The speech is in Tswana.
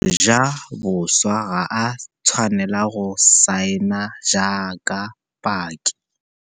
Mojaboswa ga a tshwanela go saena jaaka paki.